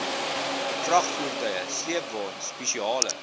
vragvoertuie sleepwaens spesiale